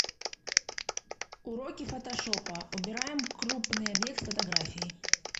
уроки фотошопа убираем крупный объект с фотографии